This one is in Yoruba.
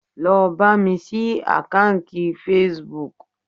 Lọ bámi ṣí àkáǹkì Facebook